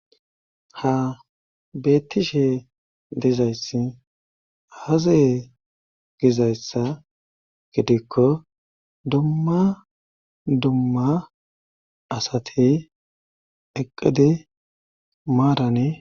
ha beettishe dizayssi hazaye gizayssa gidikko dumma dumma asati eqqidi maarani